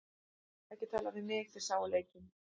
Ekki tala við mig, þið sáuð leikinn.